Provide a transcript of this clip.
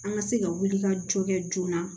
An ka se ka wulikajɔ kɛ joona